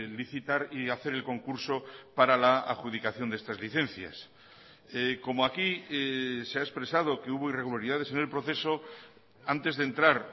licitar y hacer el concurso para la adjudicación de estas licencias como aquí se ha expresado que hubo irregularidades en el proceso antes de entrar